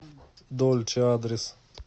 дольче адрес